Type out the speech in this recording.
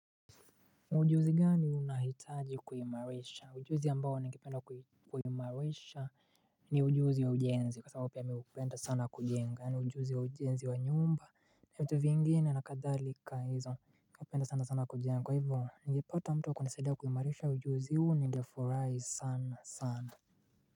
Ujuzi gani unahitaji kuimarisha? Ujuzi ambao ningependa kuimarisha ni ujuzi wa ujenzi kwa sababu pia mi hupenda sana kujenga. Yaani ujuzi wa ujenzi wa nyumba na vitu vingine na kadhalika hizo. Napenda sana sana kujenga. Kwa hivyo, ningepata mtu wa kunisaidia kuimarisha ujuzi huu ningefurahi sana sana.